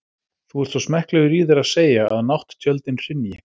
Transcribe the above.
Þú ert svo smekklegur í þér að segja, að nátttjöldin hrynji.